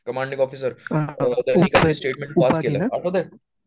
Commanding officer त्यानी statement pass केलंय आठवतंय?